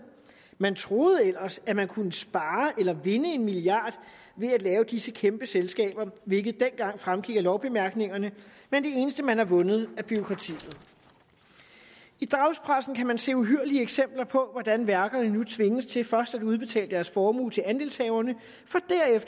man troede ellers at man kunne spare eller vinde en milliard ved at lave disse kæmpe selskaber hvilket dengang fremgik af lovbemærkningerne men det eneste man har vundet er bureaukrati i dagspressen kan man se uhyrlige eksempler på hvordan værkerne nu tvinges til først at udbetale deres formue til andelshaverne